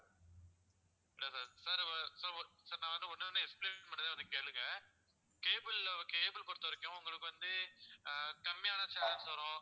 இல்ல sir sir sir நான் வேணும்னா ஒண்ணொண்ணா explain பண்ணுதேன் அதை கேளுங்க cable ல cable பொறுத்தவரைக்கும் உங்களுக்கு வந்து ஆஹ் கம்மியான channels வரும்